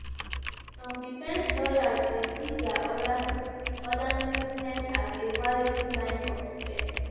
some defence lawyers dey see dia ordinariness as a a valuable line of defence.